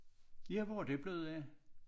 Ja hvor er det blevet af?